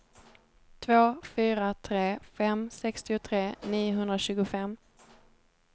två fyra tre fem sextiotre niohundratjugofem